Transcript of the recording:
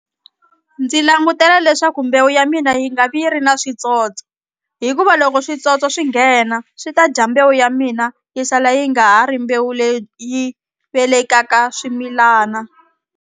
Ndzi langutela leswaku mbewu ya mina yi nga vi yi ri na switsotso hikuva loko switsotso swi nghena swi ta dya mbewu ya mina yi sala yi nga ha ri mbewu leyi velekaka swimilana.